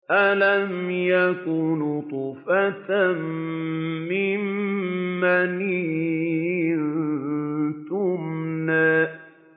أَلَمْ يَكُ نُطْفَةً مِّن مَّنِيٍّ يُمْنَىٰ